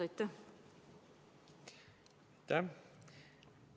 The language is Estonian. Aitäh!